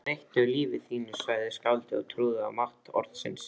Breyttu lífi þínu sagði skáldið og trúði á mátt orðsins